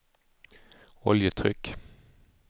oljetryck